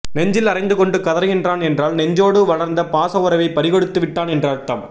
நெஞ்சில் அறைந்து கொண்டு கதறுகின்றான் என்றால் நெஞ்சோடு வளர்ந்த பாச உறவை பறிகொடுத்து விட்டான் என்று அர்த்தம்